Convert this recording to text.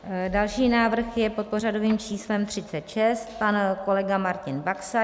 Další návrh je pod pořadovým číslem 36, pan kolega Martin Baxa.